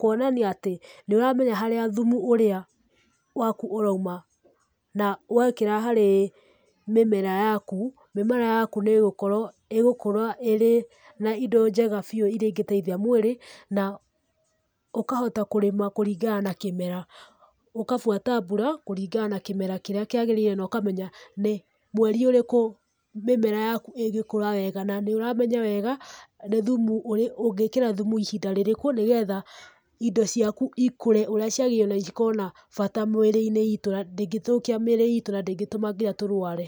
kũonania atĩ nĩ ũĩ harĩa thumu ũrĩa waku ũrauma na wekĩra harĩ mĩmera yaku, mĩmera yaku nĩ ĩgũkorwo igũkũra ĩrĩ na indo njega biũ iria ingĩteithia mwĩrĩ, na ũkahota kũrĩma kũringana na kĩmera. Ũkabuata mbura kũringana na kĩmera kĩrĩa kĩagĩrĩire na ũkamenya, nĩ, mweri ũrĩku mĩmera yaku ingĩkũra wega. Na nĩũramenya wega nĩ thumu, ũngĩĩkĩra thumu ihinda rĩrĩkũ, nĩgetha, indo ciaku ikũre ũrĩa ciagĩrĩirwo na cikorwo na bata mĩĩrĩ-inĩ itũ, na ndĩngĩthũkia mĩĩrĩ itũ, na ndĩngĩtuma nginya tũrũare.